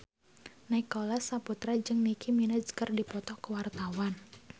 Nicholas Saputra jeung Nicky Minaj keur dipoto ku wartawan